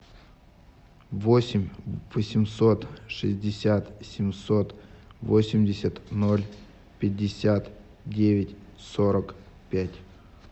восемь восемьсот шестьдесят семьсот восемьдесят ноль пятьдесят девять сорок пять